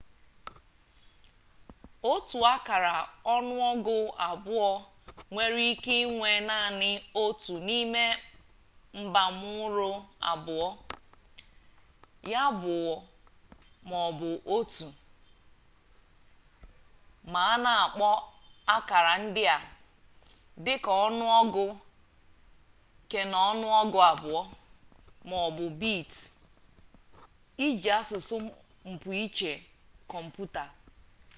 otu akara ọnụọgụ abụọ nwere ike inwe naanị otu n'ime mbamuru abụọ ya bụ 0 ma ọ bụ 1 ma a na-akpọ akara ndị a dị ka ọnụọgụ keọnụọgụ abụọ ma ọ bụ bits iji asụsụ mpụiche kọmputa